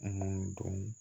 Mun dɔn